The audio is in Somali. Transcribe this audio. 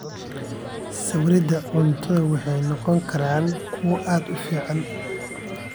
Sawirada cuntadu waxay noqon karaan kuwo aad u fiican.